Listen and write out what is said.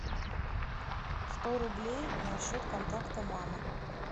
сто рублей на счет контакта мама